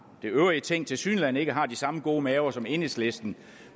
øvrige ting tilsyneladende ikke har de samme gode maver som enhedslisten